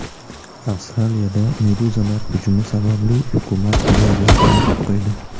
Avstraliyada meduzalar hujumi sababli hukumat plyajlarni yopib qo‘ydi.